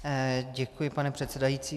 Děkuji, pane předsedající.